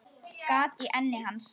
Gat í enni hans.